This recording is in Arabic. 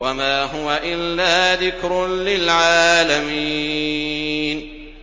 وَمَا هُوَ إِلَّا ذِكْرٌ لِّلْعَالَمِينَ